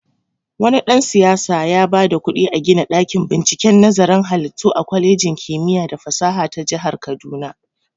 Wani dan-siyasa yaba da kuɗi a gina ɗakin binciken nazarin halittu a kwalejin kimiya da fasaha ta jahar kaduna.